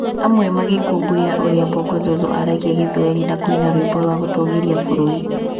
Amwe magĩkũngũĩra ũrĩa Bongo Zozo aragia gĩthwaĩri na kũina rwimbo rwa gũtũũgĩria bũrũri